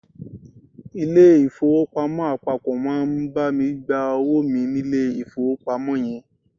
Ilé ìfowópamọ́ àpapọ̀ máa bá mi gba owó mi nílé ìfowópamọ́ yẹn.